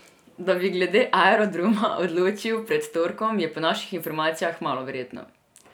Da bi glede Aerodroma odločili pred torkom, je po naših informacijah malo verjetno.